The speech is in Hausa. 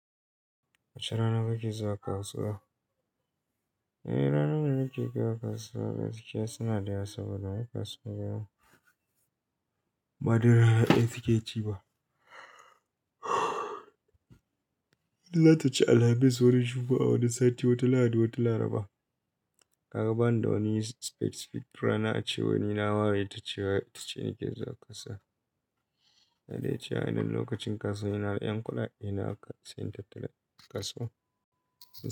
Wace rana ka ke zuwa kasuwa? Eh, ranar da nake zuwa kasuwa gaskiya suna da yawa saboda kasuwa ba dai rana ɗaya suke ci ba. Za ta ci Alhamis wani Jumma'a wani sati wata Lahadi wata Laraba. Ka ga bani da wani specific rana a ce wane nawa ita ce ita ce nake zuwa kasuwa. Na dace a wannan lokacin kasuwa ina da ƴan kudadena haka sai in tattara in yi kasuwa.